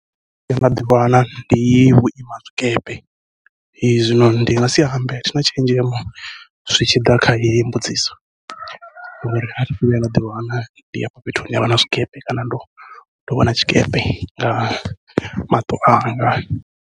Thi thu vhuya nda ḓiwana ndi vhuima zwikepe , zwino ndi ngasi ambe athina tshenzhemo zwi tshi ḓa kha heyo mbudziso, ngori athi thu vhuya nda ḓiwana ndi fhethu hune havha na zwikepe kana ndo ndo vhona tshikepe nga maṱo anga.